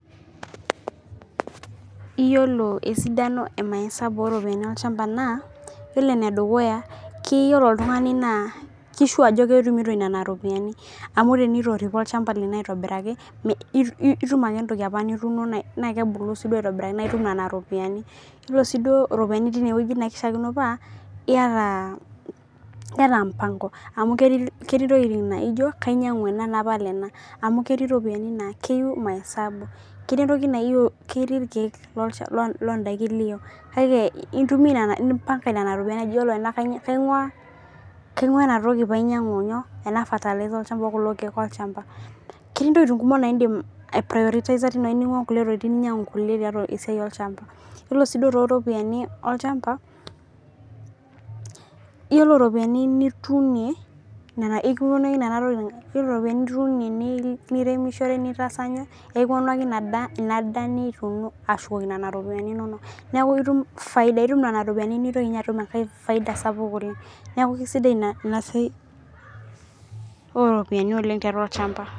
iyiolo esidano emaisabu ooropiyiani olchampa naa, iyiolo ene dukuya keyieu oltungani naa ki sure ajo ketumito nena ropiyiani, amu tenitoripo olchampa lino aitobiraki, itum ake entoki apa nituuno naa kebulu siduoo aitobiraki naa itum nena ropiyiani. iyiolo siiduo iropiyiani teine wueji naa kishaakino paa iyata mpango amu ketii intokitin naa ijo kainyiang'u ena napal ena, amu keti iropiyiani naa keyieu maesabu, keti entoki naa ketii irkeek loodaikin niyieu. kake impanga nena ropiyiani iyiolo ena kaing'uaa ena toki pee ainyiang'u inyoo ena fertilzer olcchampa okulo keek lolchampa, ketii ntokitin kumok naa idim ai priotizer teine wueji ning'uaa nkulie tokitin ninyiang'u nkulie esiai olchampa iyiolo siduo too ropiyiani olchampa. iyiolo iropiyiani, nituunie, nena ekipuonu ake nena tokitin. iyiolo iropiyiani noituunie nirem, niishoru initaasa iyie. ekipuonu ake inadaaa nituuno ashukokino nena ropiyiani inonok. neeku itum faida. itum nena ropiyiani nintoki ninye atum inankae faida sapuk oleng. neeku kisidai ina siiai ooropiyiani oleng tiatua olchampa.